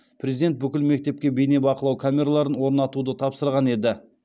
президент бүкіл мектепке бейнебақылау камераларын орнатуды тапсырған еді